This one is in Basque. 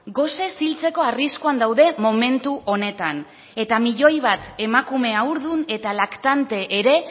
gosez hiltzeko arriskuan daude momentu honetan eta milioi bat emakume haurdun eta laktante ere